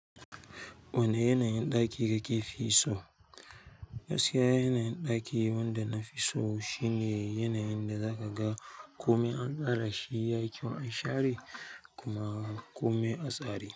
Wane yanayin ɗaki kake fi so? Gaskiya yanayin ɗaki wanda na fi so shine yanayin da zaka ga kome an tsara shi yayi kyau an share kuma komai a tsari.